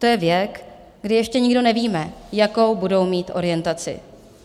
To je věk, kdy ještě nikdo nevíme, jakou budou mít orientaci.